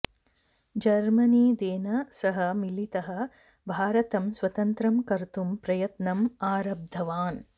जर्मनिदेन सह मिलितः भारतम् स्वतन्त्रं कर्तुं प्रयत्नम् आरब्धवान्